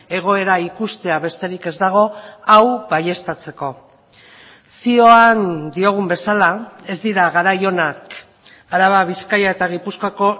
egoera ikustea besterik ez dago hau baieztatzeko zioan diogun bezala ez dira garai onak araba bizkaia eta gipuzkoako